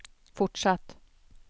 fortsatt